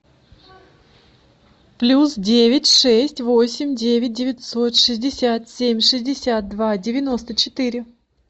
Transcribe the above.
плюс девять шесть восемь девять девятьсот шестьдесят семь шестьдесят два девяносто четыре